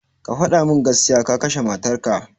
Ka gaya mun gaskiya, ka kashe matar ka